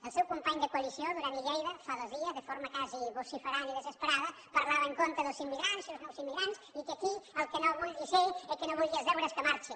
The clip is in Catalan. el seu company de coalició duran i lleida fa dos dies de forma quasi vociferant i desesperada parlava en contra dels immigrants i els nous immigrants i que aquí el que no hi vulgui ser el que no vulgui els deures que marxi